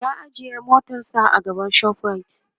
ya ajiye motarsa a gaban shoprite